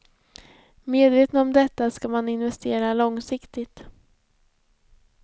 Medveten om detta ska man investera långsiktigt.